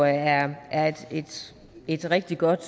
jeg er et rigtig godt